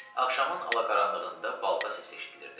Axşamın alaqaranlığında balta səsi eşidilirdi.